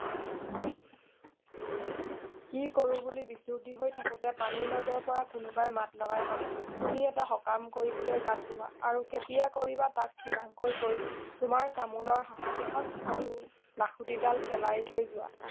কি কৰো বুলি বিচুতি হৈ থাকোতে পানীৰ মাজৰ পৰা কোনোবাই মাত লগাই কলে তুমি এটা সকাম কৰিবলৈ গাত লোৱা আৰু কেতিয়া কৰিবা তাক ঠিৰাংকৈ কৈ তোমাৰ তামোলৰ হাঁচতি খন আৰু লাখুটি ডাল পেলাই থৈ যোৱা